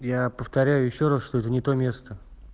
я повторяю ещё раз что это не то место